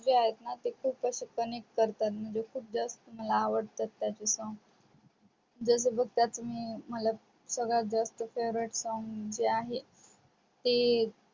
जे आहे ना ते खूप असे connect करतात म्हणजे खूप जास्त मला आवडतत त्याचे song जस काय मला तुम्ही जे आहे ते